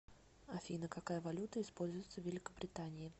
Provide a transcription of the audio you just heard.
афина какая валюта используется в великобритании